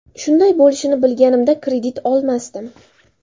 Shunday bo‘lishini bilganimda, kredit olmasdim.